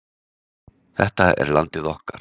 Þetta er landið okkar